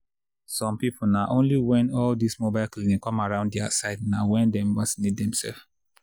some people na only when all this mobile clinic come around their side na when dem vacinate dem self